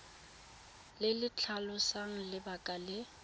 le le tlhalosang lebaka le